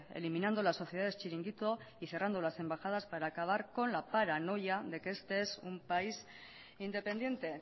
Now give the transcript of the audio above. eliminando las sociedades chiringuito y cerrando las embajadas para acabar con la paranoia de que este es un país independiente